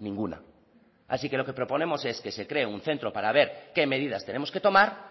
ninguna así que lo que proponemos es que se cree un centro para ver qué medidas tenemos que tomar